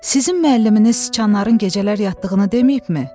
sizin müəlliminiz siçanların gecələr yatdığını deməyibmi?